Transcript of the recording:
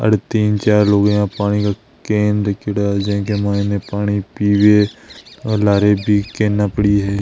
अर तीन चार लुगाया पानी का केन रखेड़ा है जेके माइन पानी पीव और लार पीके न पड़ी है।